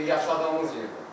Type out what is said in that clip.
Yaşadığımız yerdə.